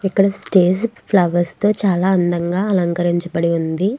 ఇక్కడ stage flowers తో చాల అందంగా అలకరరించబడి ఉంది.